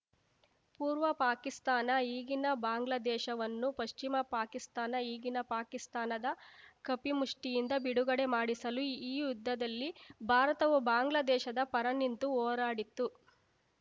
ಪೂರ್ವ ಪಾಕಿಸ್ತಾನ ಈಗಿನ ಬಾಂಗ್ಲಾದೇಶ ವನ್ನು ಪಶ್ಚಿಮ ಪಾಕಿಸ್ತಾನ ಈಗಿನ ಪಾಕಿಸ್ತಾನದ ಕಪಿಮುಷ್ಟಿಯಿಂದ ಬಿಡುಗಡೆ ಮಾಡಿಸಲು ಈ ಯುದ್ಧದಲ್ಲಿ ಭಾರತವು ಬಾಂಗ್ಲಾದೇಶದ ಪರ ನಿಂತು ಹೋರಾಡಿತ್ತು